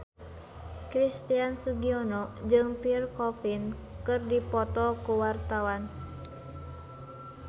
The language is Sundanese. Christian Sugiono jeung Pierre Coffin keur dipoto ku wartawan